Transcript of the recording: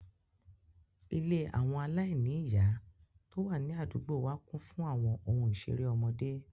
Ilé àwọn ọmọ aláìní ìyá tó wà ní àdúgbò wa kún fún àwọn ohun ìṣeré ọmọdé